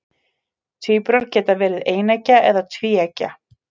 Tvíburar geta verið eineggja eða tvíeggja.